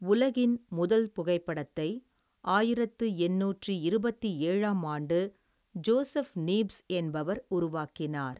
உலகின் முதல் புகைப்படத்தை ஆயிரத்தி எண்ணூத்தி இருபத்தி ஏழாம்ஆண்டு ஜோசப் நீப்ஸ் என்பவர் உருவாக்கினார்.